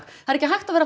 það er ekki hægt að vera